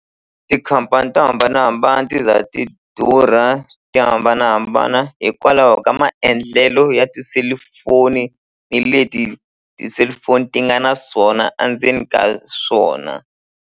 Tikhampani to hambanahambana ti za ti durha ti hambanahambana hikwalaho ka maendlelo ya tiselufoni ni leti ti-cellphone ti nga na swona a ndzeni ka swona.